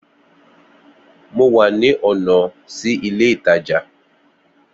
Mo wà ní ònà sí ilé ìtajà